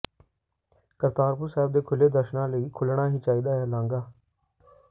ਕਰਤਾਰਪੁਰ ਸਾਹਿਬ ਦੇ ਖੁੱਲ੍ਹੇ ਦਰਸ਼ਨਾਂ ਲਈ ਖੁੱਲ੍ਹਣਾ ਹੀ ਚਾਹੀਦਾ ਹੈ ਲਾਂਘਾ